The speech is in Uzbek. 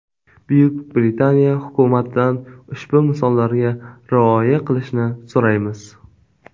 Buyuk Britaniya hukumatidan ushbu misollarga rioya qilishni so‘raymiz.